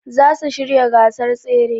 Zasu shirya gasar tsere